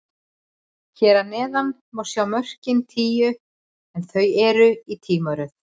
Hér að neðan má sjá mörkin tíu, en þau eru í tímaröð.